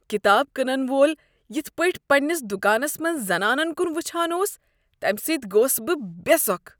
کتاب کٕنن وول یِتھ پاٹھۍ پننِس دکانس منز زنانن کُن وچھان اوس تَمِہ سۭتۍ گوس بہٕ بے سۄکھ ۔